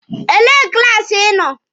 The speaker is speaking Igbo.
Elee klaasi Ị nọ?